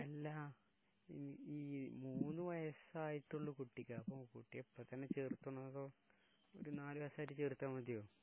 അല്ലാ, ഈ മൂന്ന് വയസായിട്ടുള്ള കുട്ടിക്കാ..അപ്പൊ കുട്ടിയെ ഇപ്പൊ തന്നെ ചേർക്കണോ അതോ ഒരു നാല് വയസായിട്ട് ചേർത്താൽ മതിയോ?